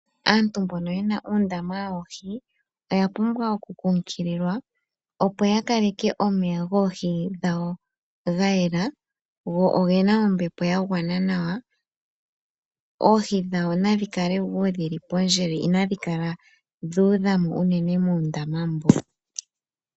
Aantu mbono oya pumbwa oku nkunkuliwa opo yakaleke omeya goohi dhawo gayelela nawa go ogena ombepo yagwana nawa dho ohi dhawo nadhi kale wo pandjele inadhi kala dhuudhamo unene.